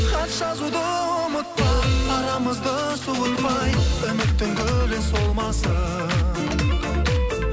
хат жазуды ұмытпа арамызды суытпай үміттің гүлі солмасын